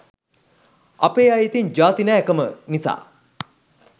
අපේ අය ඉතිං ජාති නෑ කම නිසා